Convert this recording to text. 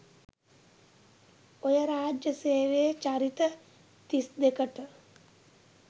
ඔය රාජ්‍ය සේවයේ චරිත තිස් දෙකට